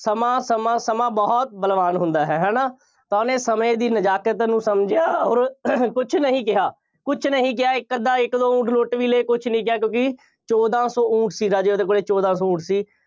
ਸਮਾਂ ਸਮਾਂ ਸਮਾਂ ਬਹੁਤ ਬਲਵਾਨ ਹੁੰਦਾ ਹੈ। ਹੈ ਨਾ, ਤਾਂ ਉਹਨੇ ਸਮੇਂ ਦੀ ਨਜ਼ਾਕਤ ਨੂੰ ਸਮਝਿਆ ਅੋਰ ਕੁੱਝ ਨਹੀਂ ਕਿਹਾ, ਕੁੱਝ ਨਹੀਂ ਕਿਹਾ, ਇੱਕ -ਅੱਧਾ, ਇੱਕ ਦੋ ਊਠ ਲੁੱਟ ਵੀ ਲਏ, ਕੁੱਝ ਨਹੀਂ ਕਿਹਾ, ਕਿਉਂਕਿ ਚੋਦਾਂ ਸੌ ਊਠ ਸੀ, ਰਾਜੇ ਉਹਦੇ ਕੋਲੇ, ਚੋਦਾਂ ਸੌ ਊਠ ਸੀ।